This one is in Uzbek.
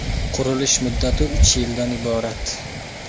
Qurilish muddati uch yildan iborat.